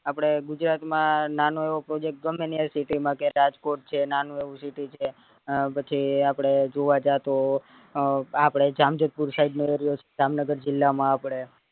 આપડે ગુજરાત માં નાનો એવો project ગમે ત્યાં city માં કે રાજકોટ છે નાનું એવું city છે પછી આપડે જુવ જતા હોઈ અ આપડે જામજોતપુર side નો area છે જામનગર જીલ્લા માં આપડે